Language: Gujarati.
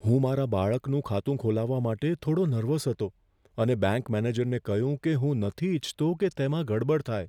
હું મારા બાળકનું ખાતું ખોલાવવા માટે થોડો નર્વસ હતો અને બેંક મેનેજરને કહ્યું કે હું નથી ઈચ્છતો કે તેમાં ગડબડ થાય.